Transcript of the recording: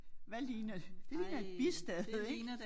Hvad ligner det ligner et bistade ik